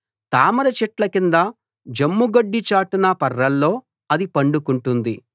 తామర చెట్ల కింద జమ్ముగడ్డి చాటున పర్రలో అది పండుకుంటుంది